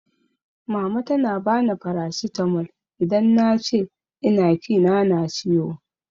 Mama tana bani farasitamol idan na ce ina kina na ciwo